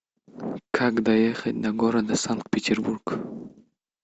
как доехать до города санкт петербург